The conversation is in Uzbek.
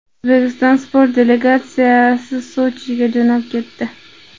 O‘zbekiston sport delegatsiyasi Sochiga jo‘nab ketdi.